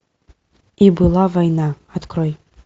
и была война открой